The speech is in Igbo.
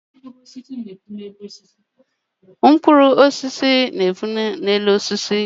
Mkpụrụ osisi na-epu na-elu osisi